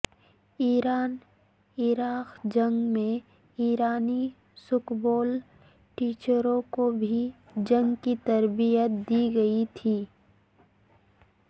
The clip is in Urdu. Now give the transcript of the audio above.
ایران عراق جنگ میں ایرانی سکبول ٹیچروں کو بھی جنگ کی تربیت دی گئی تھی